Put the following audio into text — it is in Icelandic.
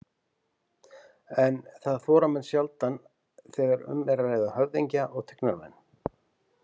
En það þora menn sjaldan þegar um er að ræða höfðingja og tignarmenn.